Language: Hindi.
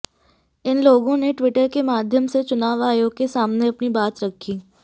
इन लोगों ने ट्वीटर के माध्यम से चुनाव आयोग के सामने अपनी बात रखी